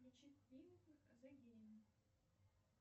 включи фильм зе гейм